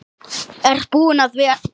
Ég er búinn að vera